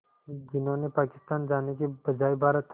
जिन्होंने पाकिस्तान जाने के बजाय भारत